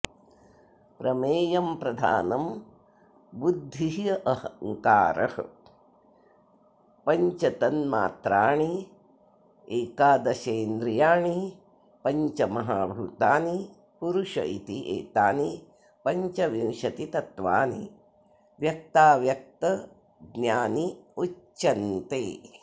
प्रमेयं प्रधानं बुद्धिरहंकारः पञ्चतन्मात्राणि एकादशेन्द्रियाणि पञ्चमहाभूतानि पुरुष इति एतानि पञ्चविंशतितत्त्वानि व्यक्ताव्यक्तज्ञान्युच्यन्ते